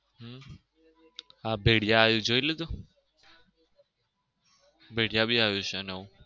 હમ આ ભેળીયા આવ્યું એ જોઈ લીધું? ભેળીયા બી આવ્યું છે નવું.